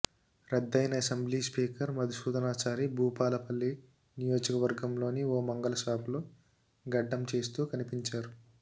రద్దయిన assembly speaker Madhusudhanachari Bhupalpally నియోజకవర్గంలోని ఓ మంగలి షాపులో గడ్డం చేస్తూ కనిపించారు